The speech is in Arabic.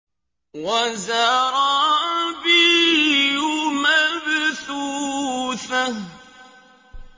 وَزَرَابِيُّ مَبْثُوثَةٌ